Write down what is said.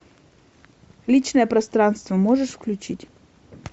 личное пространство можешь включить